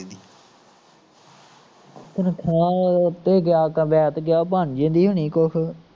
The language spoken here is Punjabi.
ਤਨਖਾਹ, ਤੇ ਕੁਵੈਤ ਗਿਆ ਬਣ ਜਾਂਦੀ ਹੁਣੀ ਕੁਸ਼